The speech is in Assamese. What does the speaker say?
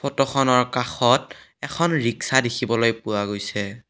ফটোখনৰ কাষত এখন ৰিক্সা দেখিবলৈ পোৱা গৈছে।